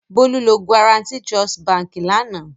Bólú lọ Guaranty Trust Báńkì lánàá.